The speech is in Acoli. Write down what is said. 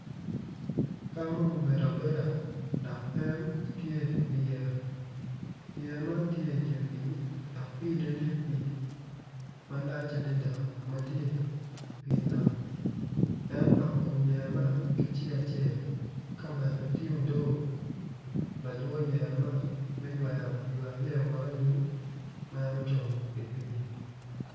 Dano ma obedo abeda aryo co man gitye i yeya dok gin gitye ka mako rec gin gitye ka tic ki goli ma odone tye mabit kun giyuto ki rec piny i kabedo man tye ma ocidde dok tye otyeno mapol tye ka nen makwar kun tye dero pa deng madong tye kutyeno ma ceng opoto woko.